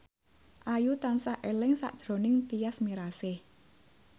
Ayu tansah eling sakjroning Tyas Mirasih